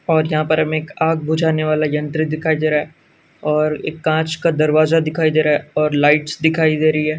और यहाँ पर हमें एक आग बुझाने वाला यंत्र दिखाई दे रहा है और एक काँच का दरवाज़ा दिखाई दे रहा है और लाइट्स दिखाई दे रही है।